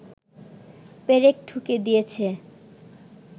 পেরেক ঠুকে দিয়েছে